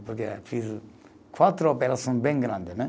Porque fiz quatro operações bem grande, né?